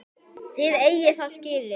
Þið eigið það skilið.